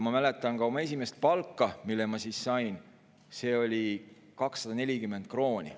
Ma mäletan oma esimest palka, mille ma siis sain – see oli 240 krooni.